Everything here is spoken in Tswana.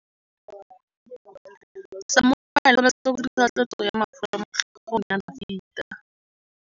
Samuele o tshwanetse go dirisa tlotsô ya mafura motlhôgong ya Dafita.